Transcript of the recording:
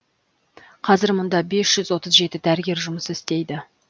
қазір мұнда бес жүз отыз жеті дәрігер жұмыс істейді